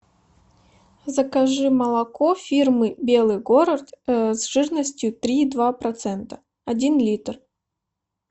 закажи молоко фирмы белый город с жирностью три и два процента один литр